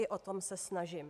I o to se snažím.